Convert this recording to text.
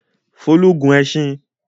Folú gun ẹṣin?